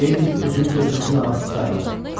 Deyirdik özümüz özümüzün ağası saylarıq.